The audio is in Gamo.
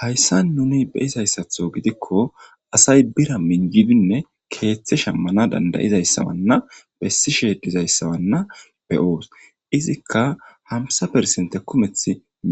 Hayssa nuni beizayssatho gidikko asay bira minjidinne keeththe shammana dandayizayssawanna bessi sheedizayssawanna beyoos izikka hamsa persente kumeth